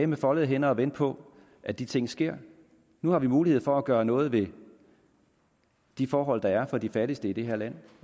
med foldede hænder og vente på at de ting sker nu har vi mulighed for at gøre noget ved de forhold der er for de fattigste i det her land